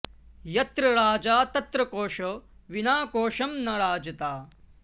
यत्र राजा तत्र कोशो विना कोशं न राजता